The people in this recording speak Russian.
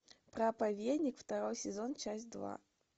проповедник второй сезон часть два